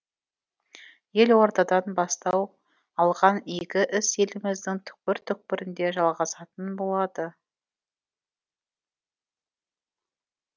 елордадан бастау алған игі іс еліміздің түкпір түкпірінде жалғасатын болады